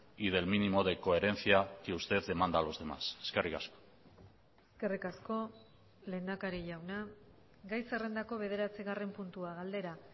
y del mínimo de coherencia que usted demanda a los demás eskerrik asko eskerrik asko lehendakari jauna gai zerrendako bederatzigarren puntua galdera